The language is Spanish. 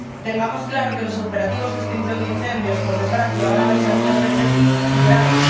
Tengamos claro que los operativos de extinción de incendios, por desgracia, van a verse muchas veces superados